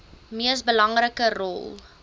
mees belangrike rol